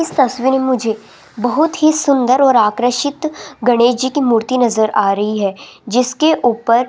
इस तस्वीर में मुझे बहुत ही सुंदर और आकर्षित गणेश जी की मूर्ति नजर आ रही है जिसके ऊपर --